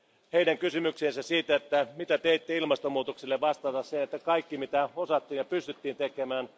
heidän kysymykseensä siitä, mitä teitte ilmastonmuutokselle, vastata sen, että kaikki mitä osattiin ja pystyttiin tekemään.